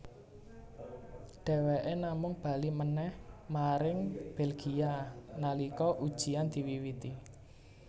Dheweké namung bali manèh maring Belgia nalika ujiyan diwiwiti